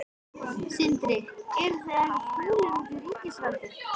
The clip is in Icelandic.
Sindri: Eruð þið ekkert fúlir út í ríkisvaldið?